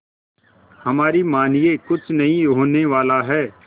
हमारी मानिए कुछ नहीं होने वाला है